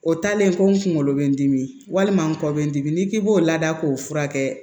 O taalen ko n kunkolo bɛ n dimi walima n kɔ bɛ n dimi n'i k'i b'o lada k'o furakɛ